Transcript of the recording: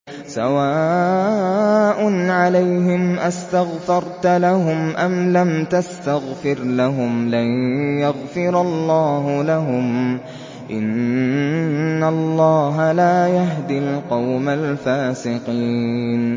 سَوَاءٌ عَلَيْهِمْ أَسْتَغْفَرْتَ لَهُمْ أَمْ لَمْ تَسْتَغْفِرْ لَهُمْ لَن يَغْفِرَ اللَّهُ لَهُمْ ۚ إِنَّ اللَّهَ لَا يَهْدِي الْقَوْمَ الْفَاسِقِينَ